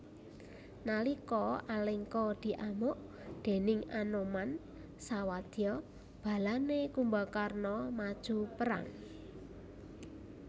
Nalika Alengka diamuk déning Anoman sawadya balane Kumbakarna maju perang